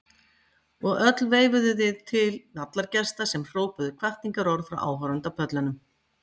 Og öll veifuðuð þið til vallargesta sem hrópuðu hvatningarorð frá áhorfendapöllunum.